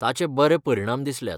ताचे बरें परिणाम दिसल्यात.